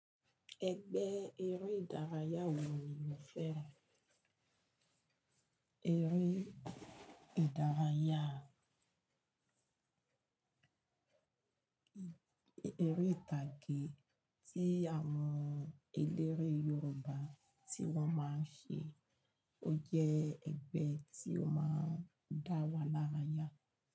Ẹgbẹ́ eré ìdárayá wo ní mo fẹ́ràn eré ìdárayá, eré ìtàgé tí àwọn eléré Yorùbá tí wọ́n máa ń ṣe. Ó jẹ́ ẹgbẹ́ tí ó máa ń dá wa l'árayá.